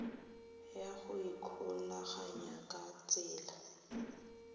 ya go ikgolaganya ka tsela